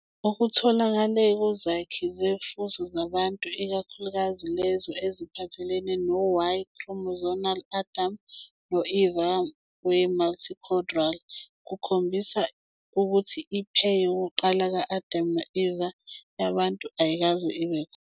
Okutholakele kuzakhi zofuzo zabantu, ikakhulukazi lezo eziphathelene no- Y-chromosomal Adam no- Eva weMitochondrial, kukhombisa ukuthi i-pair yokuqala "ka-Adam no-Eva" yabantu ayikaze ibe khona.